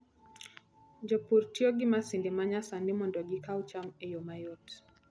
Jopur tiyo gi masinde ma nyasani mondo gikaw cham e yo mayot.